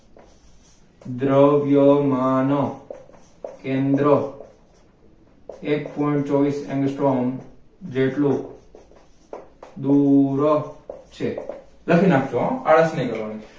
દ્રવ્યમાન કેન્દ્ર એક point ચોવીસ armstrong જેટલું દૂર છે લખી નાખ જો હો આળસ નહિ કરવાની